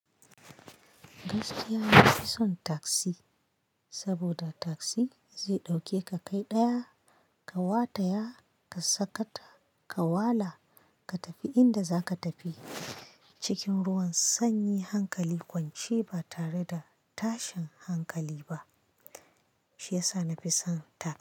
Gaskiya na fi son tassi, saboda tassi zai ɗauke ka kai ɗaya ka wata ya ka sakata, ka wala ka tafi inda zaka tafi. Cikin ruwan sanyi, hankali kwance ba tare da tashin hankali ba, shi yasa nafi son tasi.